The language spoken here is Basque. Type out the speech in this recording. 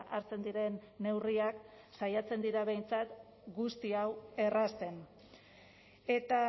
hartzen diren neurriak saiatzen dira behintzat guzti hau errazten eta